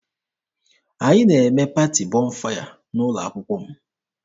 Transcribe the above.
Anyị na-eme paati Bọnfaya n'ụlọ akwụkwọ m.